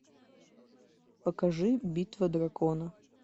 покажи битва дракона